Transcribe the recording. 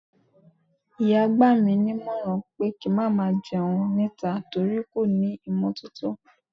ìyá gba mi nímọ̀ràn pé kí n má jẹun níta, nítorí kò ní ímotótó